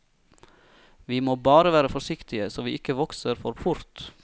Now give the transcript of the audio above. Vi må bare være forsiktige, så vi ikke vokser for fort.